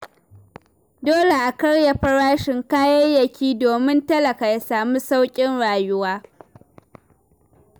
Dole a karya farashin kayayyaki domin talaka ya samu sauƙin rayuwa.